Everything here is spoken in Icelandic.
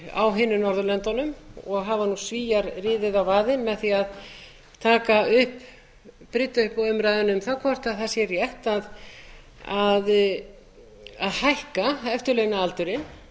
á hinum norðurlöndunum og hafa nú svíar riðið á vaðið með því að taka upp brydda upp á umræðunni um það hvort það sé rétt að hækka eftirlaunaaldurinn